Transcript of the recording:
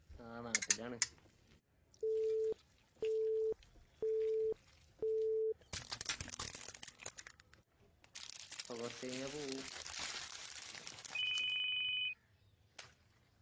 ആ നാട്ടിലാണ് കുറച്ച് കഴിഞ്ഞാ പോവും